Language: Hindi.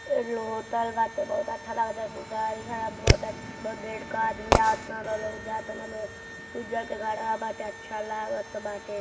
एडलो होटल बाटे बहुत अच्छा लागता एगो गाड़ी खड़ा बहुत आ बहुत भीड़ का आदमी आवतान लोग जातन लोग उजर के घरवा बाटे अच्छा लागत बाटे।